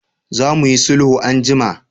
Za mu yi sulhu anjima!